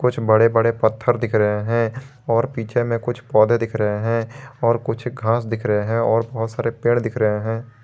बड़े बड़े पत्थर दिख रहे हैं और पीछे में कुछ पौधे दिख रहे हैं और कुछ घास दिख रहे हैं और बहुत सारे पेड़ दिख रहे हैं।